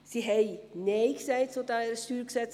Es hat zu dieser StGRevision Nein gesagt.